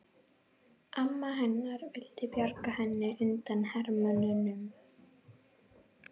Amma hennar vildi bjarga henni undan hermönnunum.